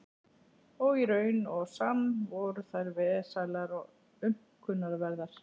Og í raun og sann voru þær vesælar og aumkunarverðar.